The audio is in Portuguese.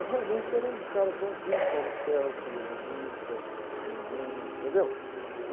Eu realmente era um cara bonzinho, ia na missa com a mamãe, entendeu?